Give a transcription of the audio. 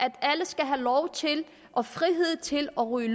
at alle skal have lov til og frihed til at ryge